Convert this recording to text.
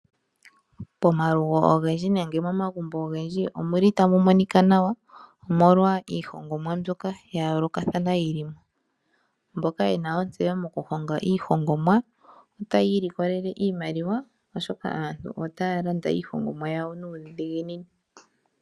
Pomalugo ogendji nenge momagumbo ogendji omuli tamu monika nawa omolwa iihongomwa mbyoka ya yoolokathana yilimo ,mboka yena ontseyo moku honga iihongomwa otaya ilikolelela iimaliwa oshoka aantu otaya landa iihongomwa yawo nuudhiginini.